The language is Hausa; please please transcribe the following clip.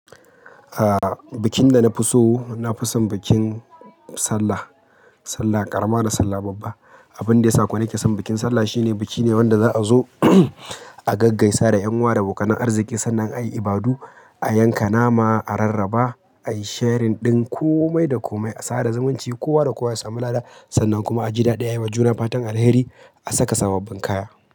A bikin da na fi so, na fi son bikin Sallah. Sallah ƙarama da Sallah babba. Abun da ya sa kuwa nake son bikin Sallah shine biki ne wanda za a zo a gaggaisa da ƴan uwa da a bokanan arziki sannan a yi ibadu, a yanka nama, a rarraba, a yi sharing ɗin komai da komai, a tsada zumunci kowa da kowa ya samu lada sannan kuma a ji daɗi, a yi wa juna fatan alheri, a saka sabobbin kaya.